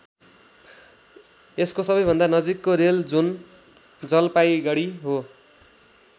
यसको सबैभन्दा नजिकको रेल जोन जलपाइगडी हो।